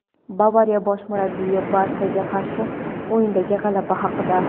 "Bavariya" bosh murabbiyi "Barsa"ga qarshi o‘yindagi g‘alaba haqida;.